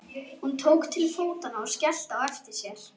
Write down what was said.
Hún tók til fótanna og skellti á eftir sér.